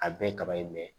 A bɛɛ kaba in